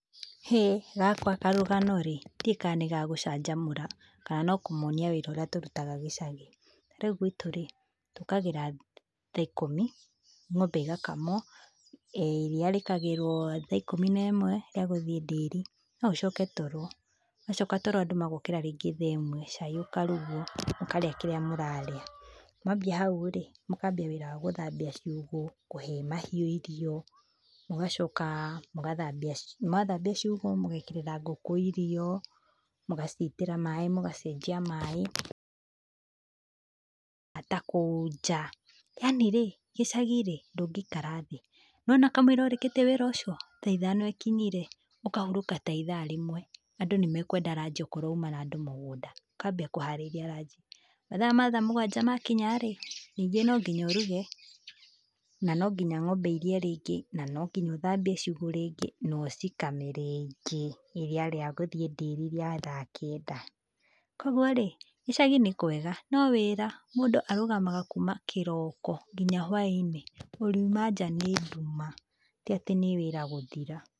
Hĩ, gakwa karũgano rĩ, ndiũĩ kana nĩ ga gũcanjamũra kana no kũmonia wĩra ũrĩa tũrutaga gĩcagi. Rĩu gwitũ rĩ, njũkagĩra thaa ikũmi, ng'ombe igakamwo, iria rĩkagĩrwo thaa ikũmi nemwe rĩa gũthiĩ ndĩri, no ũcoke toro, wacoka toro andũ magokĩra rĩngĩ thaa ĩmwe, cai ũkarugwo, mũkarĩa kĩrĩa mũrarĩa. Mwambia hau rĩ, mũkambia wĩra wa gũthambia ciugũ, kũhe mahiũ irio, mũgacoka mũgathambia, mwathambia ciugũ, mũgekĩrĩra ngũkũ irio, mũgacitĩra maĩ, mũgacenjia maĩ, kũhata kũu nja, yaani rĩ, gicagi rĩ, ndũngĩikara thĩ. Nĩwona kamũira ũrĩkĩtie wĩra ũcio, thaa ithano ikinyire, ũkahurũka tha ithaa rĩmwe. Andũ nĩ mekwenda ranji okorwo uma na andũ mũgũnda, ũkambia kũharĩria ranji, mathaa ma thaa mũgwanja makinya rĩ, ningĩ no nginya ũruge, na no nginya ng'ombe irie rĩngĩ na no nginya ũthambie ciugũ rĩngĩ na ũcikame rĩngĩ iria rĩa gũthiĩ ndĩri rĩa thaa kenda. Koguo rĩ, gĩcagi nĩ kwega no wĩra, mũndũ arũgamaga kuma kĩroko nginya hwainĩ ũriuma nja nĩ nduma ti atĩ nĩ wĩra gũthira.